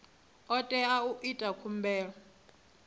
o tea u ita khumbelo